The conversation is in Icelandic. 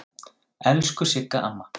Elsku Sigga amma.